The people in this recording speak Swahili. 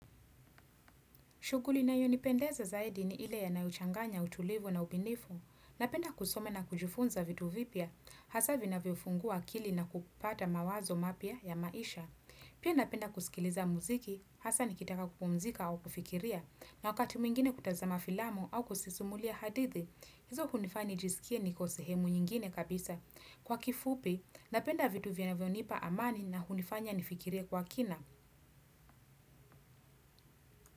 Shughuli inayonipendeza zaidi ni ile inayochanganya utulivu na ubunifu. Napenda kusoma na kujifunza vitu vipya, hasa vinavyofungua akili na kupata mawazo mapya ya maisha. Pia napenda kusikiliza muziki, hasa nikitaka kupumzika au kufikiria. Na wakati mwingine kutazama filamu au kusisumulia hadithi, hizo hunifanya nijisikie niko sehemu nyingine kabisa. Kwa kifupi, napenda vitu vinavyonipa amani na hunifanya nifikirie kwa kina.